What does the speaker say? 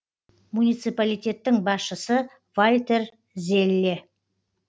муниципалитеттің басшысы вальтер зелле